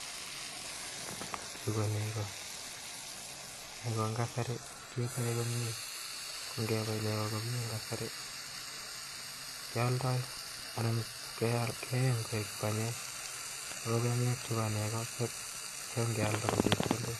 Chuu ko nego , nego en kasari keboe komye ko ngebai nego en kasari keoldoi ana keyeny koik banyek ako banyek chebo nego ngealda ko chepkondok